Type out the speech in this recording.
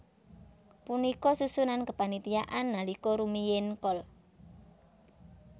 Punika susunan kepanitiaan nalika rumiyin Kol